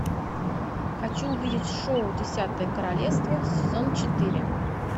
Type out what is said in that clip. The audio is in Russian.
хочу увидеть шоу десятое королевство сезон четыре